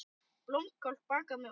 Blómkál bakað með osti